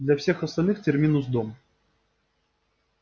для всех остальных терминус дом